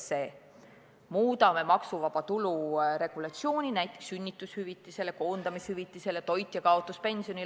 Me muudame maksuvaba tulu regulatsiooni, mis puudutab näiteks sünnitushüvitist, koondamishüvitist ja toitjakaotuspensioni.